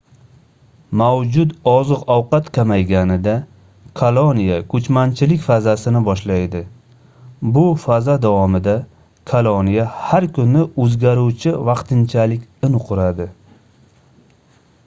mavjud oziq-ovqat kamayganida koloniya koʻchmanchilik fazasini boshlaydi bu faza davomida koloniya har kuni oʻzgaruvchi vaqtinchalik in quradi